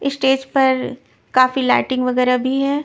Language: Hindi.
स्टेज पर काफी लाइटिंग वगैरह भी है.